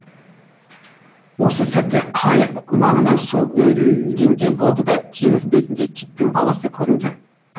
осы сәтте қайық маңынан су үйірілгендей болды да теңіз бетінде киттің баласы көрінді